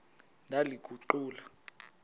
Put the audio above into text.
ndaliguqula